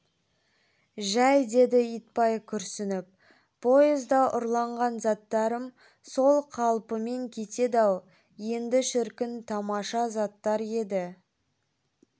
жәй деді итбай күрсініп поезда ұрланған заттарым сол қалпымен кетеді-ау енді шіркін тамаша заттар еді